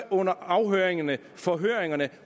under afhøringerneforhørene